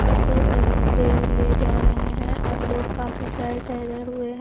एवं देवी ले जा रहे हैं और लोग काफी साइड ठहरे हुए हैं।